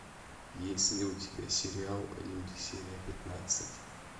есть ли у тебя сериал люди серия пятнадцать